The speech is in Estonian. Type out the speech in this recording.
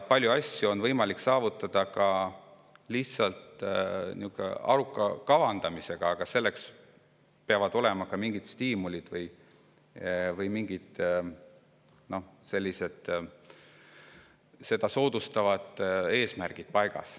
Palju asju on võimalik saavutada ka lihtsalt aruka kavandamisega, aga selleks peavad olema paigas mingid stiimulid või soodustavad eesmärgid.